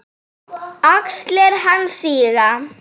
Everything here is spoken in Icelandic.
Axlir hans síga.